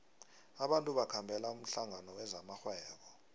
abantu bakhambela umhlangano wezamarhwebo